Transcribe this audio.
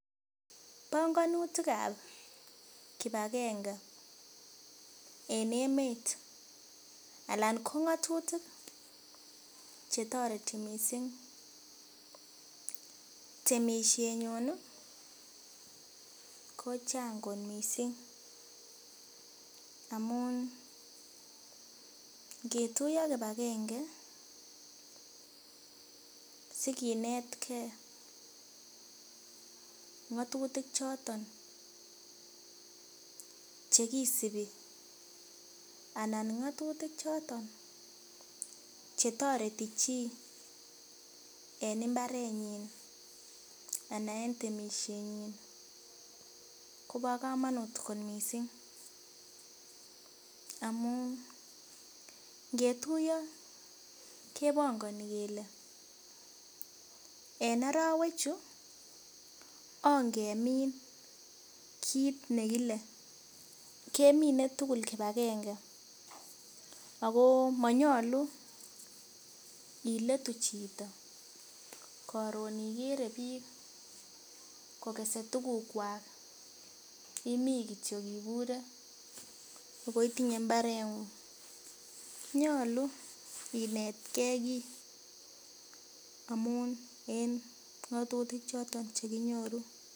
Bongonitik ab kipagenge en emet Alan ko ng'otutik chetoreti missing temisiet nyun ih kochang kot missing amun ngetuiyo kipagenge sikinetgee ng'otutik choton chekisibi anan ng'otutik choton chetoreti chii en mbarenyin ana en temisiet nyin kobo komonut kot missing amun ngetuiyo kebongoni kele en arowek chu ongemin kit nekile kemine tugul kipagenge ako monyolu iletu chito koron ikere biik kokese tukuk kwak imii kityok ibure ako itinye mbaret ng'ung nyolu inetgee kiy amun en ng'otutik choton chekinyoru